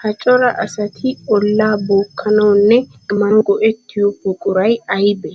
Ha coraa asatti olaa bookkanawunne kammanawu go'ettiyo buquray aybbe?